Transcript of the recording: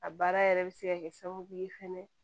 A baara yɛrɛ bɛ se ka kɛ sababu ye fɛnɛ